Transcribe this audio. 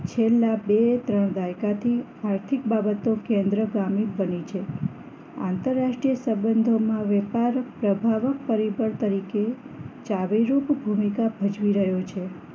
છેલ્લા બે ત્રણ દાયકા થી આર્થિક બાબતો કેન્દ્રગામી બની છે આંતરરાષ્ટ્રીય સંબંધોમાં વેપાર પ્રભાવ પરિવર્તન તરીકે ચાવીરૂપ ભૂમિકા ભજવી રહ્યો છે